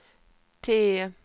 T